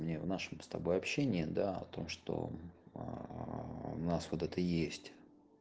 мне в нашем с тобой общении о том что ээ в нас вот это есть